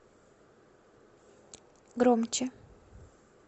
громче